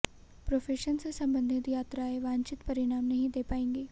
profession से संबंधित यात्राएं वांछित परिणाम नहीं दे पाएंगी